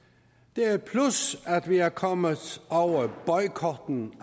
det er et plus at vi er kommet over boykotten